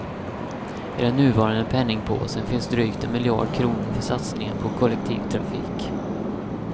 I den nuvarande penningpåsen finns drygt en miljard kronor för satsningar på kollektivtrafik.